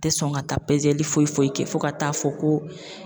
Te sɔn ka taa pezeli foyi foyi kɛ fo ka taa fɔ ko